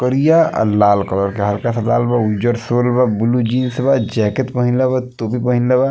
करिया और लाला कलर के हल्का सा लाल बा और उजर शोल ब्लू जीन्स बा जैकेट पहिनले बा टोपी पहिनले बा |